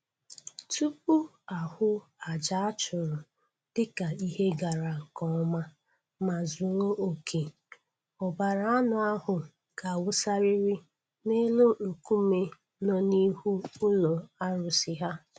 Tupu a hụ aja a chụrụ dịka ihe gara nke ọma ma zuo oke, ọbara anụ ahụ ga-awụsarịrị n'elu nkume nọ n'ihu ụlọ arụsị ha